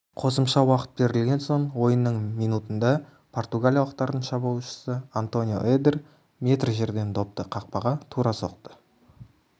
қосымша уақыт берілген соң ойынның минутында португалиялықтардың шабуылшысы антонио эдер метр жерден допты қақпаға тура соқты